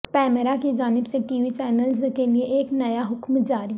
پیمرا کی جانب سے ٹی وی چینلز کیلئے ایک نیا حکم جاری